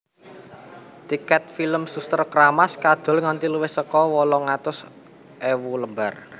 Tiket film Suster Keramas kadol nganti luwih saka wolung atus ewu lembar